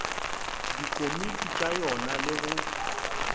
dikomiti tša yona le go